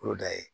Yɔrɔ da ye